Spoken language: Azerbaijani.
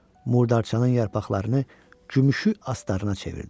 Murdarçanın yarpaqlarını gümüşü astarına çevirdi.